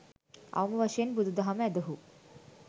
අවම වශයෙන් බුදු දහම ඇදහූ